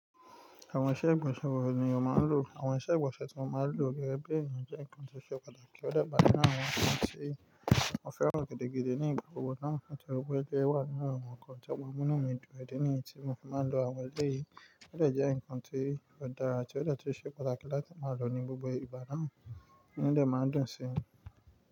Àwọn iṣẹ́ ìgbọ̀nsẹ̀ gbogbo ènìyàn máa ń lò. Àwọn iṣẹ́ ìgbọ̀nsẹ̀ tí mo máa ń lò gẹ́gẹ́ bí èèyàn jẹ́ nǹkan tó ṣe pàtàkì. Ó dàgbà ní àwọn àwọn kan tí mo fẹ́ràn gidigidi ní ìgbà gbogbo náà nítorípé ẹgbẹ́ wà nínú àwọn nnkan to máa mú inu mi dun ìdí nìyẹn tí mo fi máa un lọ awọn eleyii Ó jẹ́ ǹkan tí ó dára àti ó ṣe pàtàkì láti máa lò ní gbogbo ìbà náà inu mi de maa un dun si.